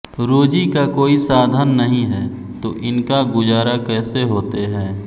रोजी का कोई साधन नहीं है तो इनका गुजारा कैसे होते है